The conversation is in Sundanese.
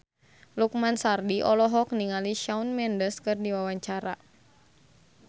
Lukman Sardi olohok ningali Shawn Mendes keur diwawancara